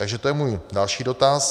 Takže to je můj další dotaz.